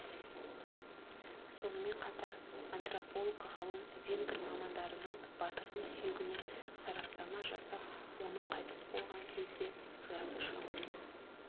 сонымен қатар антрополог ғалым венгр мамандарының батырдың сүйегіне сараптама жасап оның қайтыс болған кезде жасы шамамен